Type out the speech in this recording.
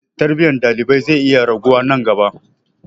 Tarbiyyar ɗalibai zai iya raguwa nan gaba.